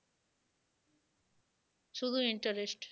শুধু interest